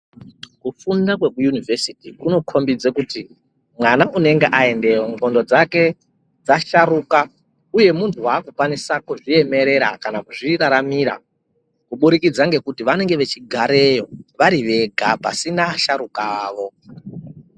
Kufunda kwekuyunivhesiti kunokhombidze kuti ,mwana unenge aendeyo ndxondo dzake dzasharuka, uye muntu waakukwanisa kuzviemerera kana kuzviraramira, kubudikidza ngekuti vanenge vachigareyo vari vega ,pasina asharuka avo.